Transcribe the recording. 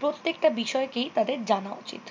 প্রত্যেকটা বিষয়কেই তাদের জানা উচিত।